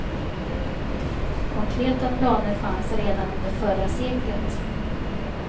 Konkreta planer fanns redan under förra seklet.